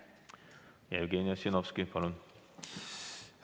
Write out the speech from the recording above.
Jevgeni Ossinovski, palun!